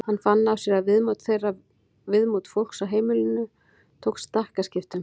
Hann fann á sér að viðmót þeirra, viðmót fólks á heimilinu tók stakkaskiptum.